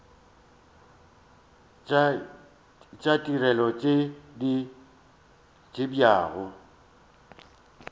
tša ditirelo tše di abjago